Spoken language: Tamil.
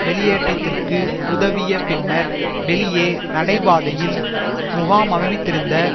வெளியேற்றத்திற்கு உதவிய பின்னர் வெளியே நடைபாதையில் முகாமைத்திருந்த